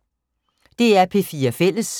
DR P4 Fælles